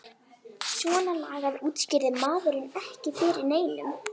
Svona lagað útskýrði maður ekki fyrir neinum.